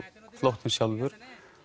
flóttinn sjálfur